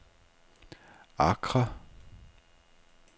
Accra